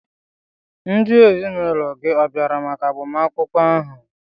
Ndị ezinụlọ gị ọ̀ bịara maka agbamakwụkwọ ahụ?